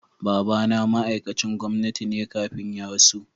Baba na ma'aikacin gwamnati ne kafin ya rasu.